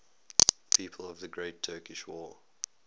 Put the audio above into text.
people of the great turkish war